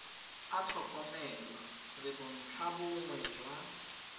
a tlhokomela re bontlhabongwe jwa